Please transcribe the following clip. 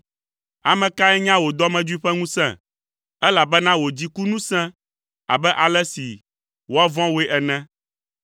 Ame kae nya wò dɔmedzoe ƒe ŋusẽ? Elabena wò dziku nu sẽ abe ale si woavɔ̃ wòe ene.